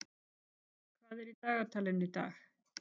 Gerald, hvað er í dagatalinu í dag?